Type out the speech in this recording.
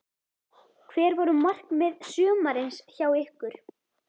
Hver voru markmið sumarsins hjá ykkur?